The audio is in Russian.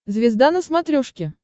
звезда на смотрешке